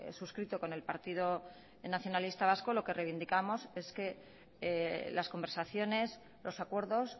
suscrito con el partido nacionalista vasco lo que reivindicamos es que las conversaciones los acuerdos